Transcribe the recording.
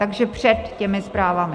Takže před těmi zprávami.